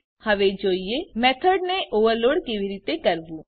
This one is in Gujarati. ચાલો હવે જોઈએ મેથોડ ને ઓવરલોડ કેવી રીતે કરવું